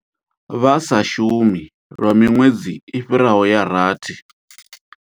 Vha sa shumi lwa miṅwedzi i fhiraho ya rathi.